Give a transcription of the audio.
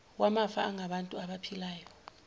wamafa angabantu abaphilayo